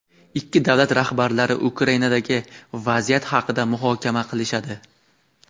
ikki davlat rahbarlari Ukrainadagi vaziyat haqida muhokama qilishadi.